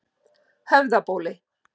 Höfðabóli